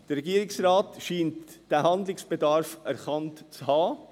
Der Regierungsrat scheint diesen Handlungsbedarf erkannt zu haben.